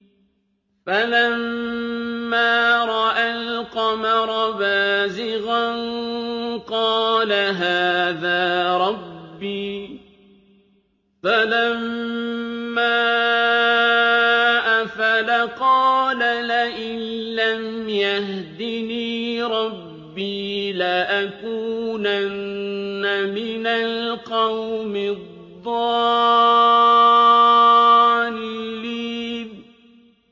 فَلَمَّا رَأَى الْقَمَرَ بَازِغًا قَالَ هَٰذَا رَبِّي ۖ فَلَمَّا أَفَلَ قَالَ لَئِن لَّمْ يَهْدِنِي رَبِّي لَأَكُونَنَّ مِنَ الْقَوْمِ الضَّالِّينَ